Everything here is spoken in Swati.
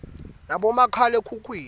nabomakhale khukhwini